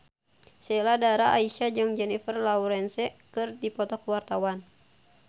Sheila Dara Aisha jeung Jennifer Lawrence keur dipoto ku wartawan